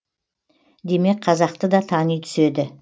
демек қазақты да тани түседі